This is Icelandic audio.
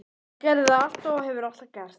Hann gerði það alltaf og hefur alltaf gert.